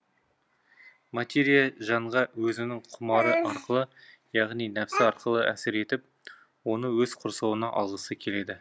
материя жанға өзінің құмары арқылы яғни нәпсі арқылы әсер етіп оны өз құрсауына алғысы келеді